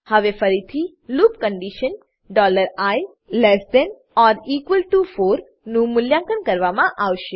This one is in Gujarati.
હવે ફરીથી લૂપ કન્ડીશન i4 નું મૂલ્યાંકન કરવામાં આવશે